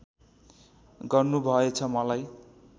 गर्नु भएछ मलाई